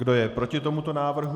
Kdo je proti tomuto návrhu?